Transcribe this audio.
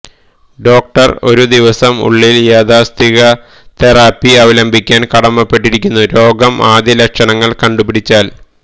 doctor ഒരു ദിവസം ഉള്ളിൽ യാഥാസ്ഥിതിക തെറാപ്പി അവലംബിക്കാൻ കടമപ്പെട്ടിരിക്കുന്നു രോഗം ആദ്യ ലക്ഷണങ്ങൾ കണ്ടുപിടിച്ചാൽ